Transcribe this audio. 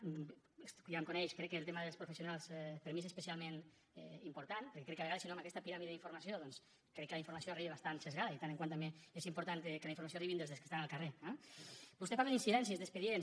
ja em coneix crec que el tema dels professionals per a mi és especialment important perquè crec que a vegades si no amb aquesta piràmide d’informació doncs crec que la informació arriba bastant esbiaixada i de tant en tant també és important que la informació arribi dels que estan al carrer eh vostè parla d’incidències d’expedients